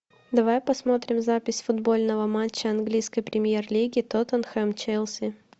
давай посмотрим запись футбольного матча английской премьер лиги тоттенхэм челси